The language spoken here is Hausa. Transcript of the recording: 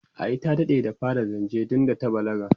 ai ta daɗe da fara zance tunda ta balaga